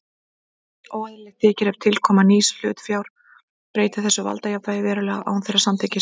Óeðlilegt þykir ef tilkoma nýs hlutafjár breytti þessu valdajafnvægi verulega án þeirra samþykkis.